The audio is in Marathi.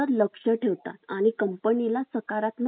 पण त्यावर सकारात्मक वातावरण तयार करण्याचे